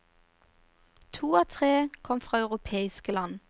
To av tre kom fra europeiske land.